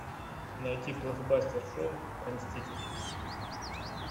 найти плохбастер шоу про мстителей